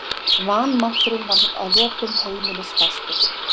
Vanmátturinn varð að lokum heimilisfastur.